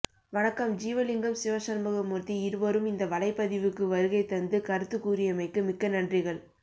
வண்க்கம் ஜீவலிங்கம் சிவசண்முகமூர்த்த்தி இருவரும் இந்த வலைபதிவுக்கு வருகை தந்து கருத்து கூறியமைக்கு மிக்க நன்றிகள்